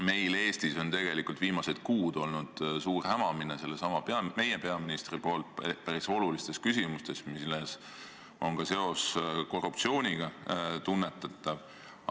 Meil Eestis on tegelikult viimased kuud olnud suur hämamine sellesama meie peaministri suust päris olulistes küsimustes, milles on ka seos korruptsiooniga tunnetatav.